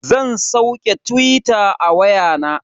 Zan sauke tuwita a waya na.